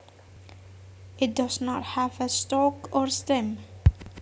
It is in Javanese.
It does not have a stalk or stim